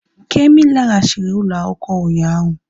Kemi laghachiri ụlọ akwụkwọ ụnyaahụ